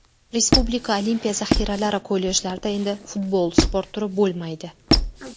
Respublika Olimpiya zaxiralari kollejlarida endi futbol sport turi bo‘lmaydi.